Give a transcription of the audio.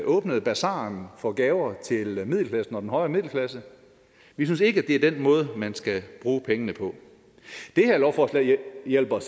åbnet basaren for gaver til middelklassen og den højere middelklasse vi synes ikke det er den måde man skal bruge pengene på det her lovforslag hjælper